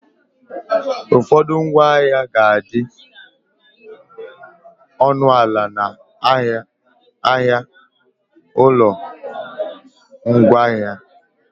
Ụfọdụ ngwaahịa ga adị ọnụ ana na ahịa ụlọ ngwaahịa